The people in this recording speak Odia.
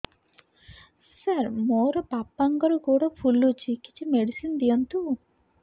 ସାର ମୋର ବାପାଙ୍କର ଗୋଡ ଫୁଲୁଛି କିଛି ମେଡିସିନ ଦିଅନ୍ତୁ